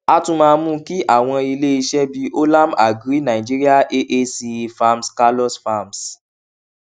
a tún máa mú kí àwọn ilé iṣẹ bíi olam agri nigeria aace farms carlos farms